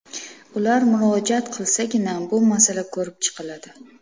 Ular murojaat qilsagina, bu masala ko‘rib chiqiladi.